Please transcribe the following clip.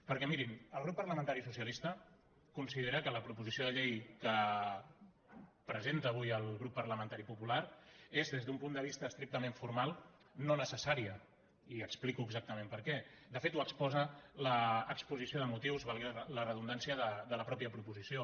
perquè mirin el grup parlamentari socialista considera que la proposició de llei que presenta avui el grup parlamentari popular és des d’un punt de vista estrictament formal no necessària i ho explico exactament perquè de fet ho exposa l’exposició de motius valgui la redundància de la mateixa proposició